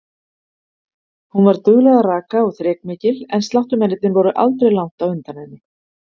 Hún var dugleg að raka og þrekmikil og sláttumennirnir voru aldrei langt á undan henni.